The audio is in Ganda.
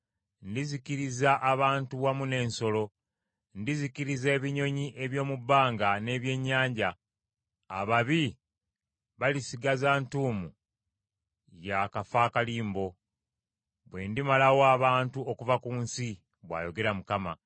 “Ndizikiriza abantu wamu n’ensolo; ndizikiriza ebinyonyi eby’omu bbanga n’ebyennyanja; ababi balisigaza ntuumu ya kafakalimbo; bwe ndimalawo abantu okuva ku nsi,” bw’ayogera Mukama .